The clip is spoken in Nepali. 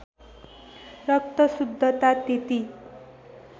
रक्त शुद्धता त्यति